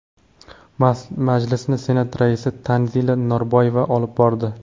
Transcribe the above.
Majlisni Senat raisi Tanzila Norboyeva olib bordi.